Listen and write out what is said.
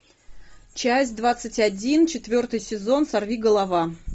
часть двадцать один четвертый сезон сорвиголова